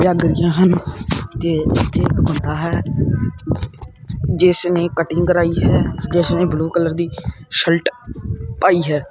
ਜਗ ਰਹੀਆਂ ਹਨ ਤੇ ਇਥੇ ਇਕ ਬੰਦਾ ਹੈ ਜਿਸ ਨੇ ਕਟਿੰਗ ਕਰਾਈ ਹੈ ਜਿਸ ਨੇ ਬਲੂ ਕਲਰ ਦੀ ਸਲਟ ਪਾਈ ਹੈ।